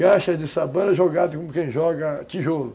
Caixas de sabão era jogadas como quem joga tijolos.